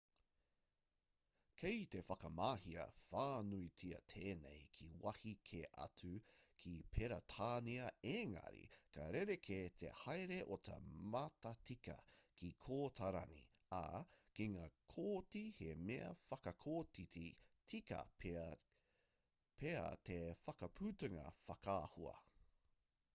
kei te whakamahia whānuitia tēnei ki wāhi kē atu ki peretānia engari ka rerekē te haere o te matatika ki kōtarani ā ki ngā kōti he mea whakakotiti tika pea te whakaputanga whakaahua